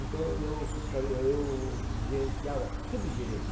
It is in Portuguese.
Então eu fiscali eu gerenciava, subgerente.